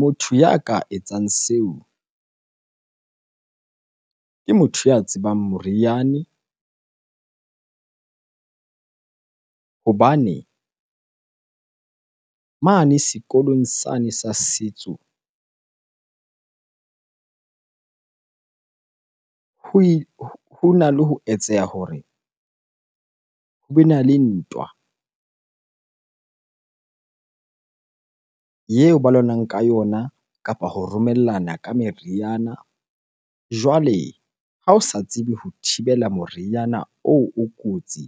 Motho ya ka etsang seo ke motho ya tsebang moriane hobane mane sekolong sane sa setso hona le ho etseha hore hobe na le ntwa eo ba lwanang ka yona kapa ho romellana ka meriana. Jwale ha o sa tsebe ho thibela moriana oo o kotsi